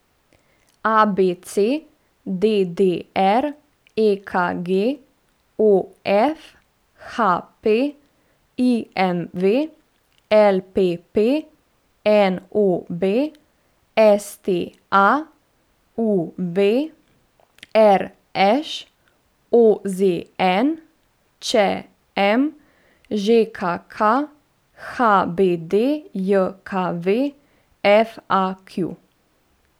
A B C; D D R; E K G; O F; H P; I M V; L P P; N O B; S T A; U V; R Š; O Z N; Č M; Ž K K; H B D J K V; F A Q.